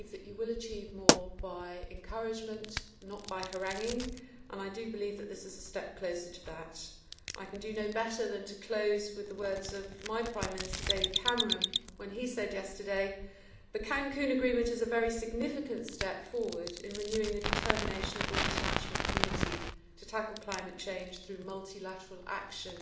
We believe that you will achieve more by encouragement, not by haranguing, and I believe that this is a step closer to that. I can do no better than to close with the words of my Prime Minister, David Cameron, when he said yesterday The Cancún agreement is a very significant step forward in renewing the determination of the international community to tackle climate change through multilateral action'.